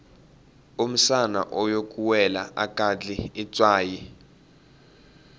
umsana oyokuwela akadli itswayi